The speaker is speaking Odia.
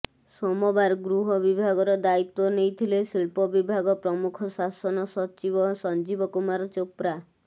ସୋମବାର ଗୃହ ବିଭାଗର ଦାୟିତ୍ବ ନେଇଥିଲେ ଶିଳ୍ପ ବିଭାଗ ପ୍ରମୁଖ ଶାସନ ସଚିବ ସଞ୍ଜୀବ କୁମାର ଚୋପ୍ରା